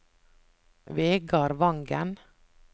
Vegar Vangen